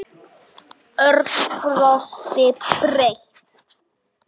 Örn brosti breitt.